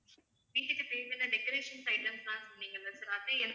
வீட்டுக்கு தேவையான decorations items லாம் சொன்னீங்க இல்ல அது